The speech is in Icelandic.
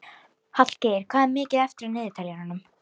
Hallgeir, hvað er mikið eftir af niðurteljaranum?